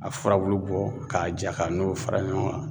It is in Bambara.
A furabulu bɔ k'a ja ka n'o fara ɲɔgɔn kan